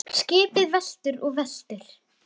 UNNUR: Skipið veltur og veltur.